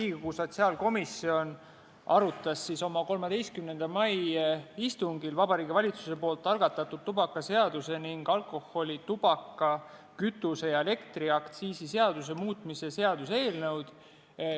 Riigikogu sotsiaalkomisjon arutas oma 13. mai istungil Vabariigi Valitsuse algatatud tubakaseaduse ning alkoholi-, tubaka-, kütuse- ja elektriaktsiisi seaduse muutmise seaduse eelnõu.